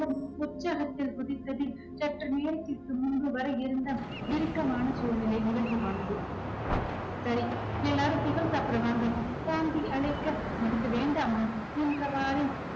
உற்சாகத்தில் குதித்ததில் சற்று முன்புவரை இருந்த இறுக்கமான சூழ்நிலை இலகுவானது சரி எல்லாரும் tiffin சாப்பிட வாங்க சாந்தி அழைக்க எனக்கு வேண்டாமா என்றவாறே